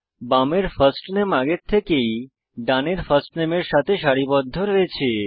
বামের ফার্স্ট নামে আগে থেকেই ডানের ফার্স্ট নামে এর সাথে সারিবদ্ধ আছে